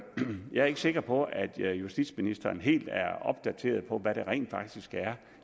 jeg er ikke sikker på at justitsministeren helt er opdateret på hvad de rent faktisk er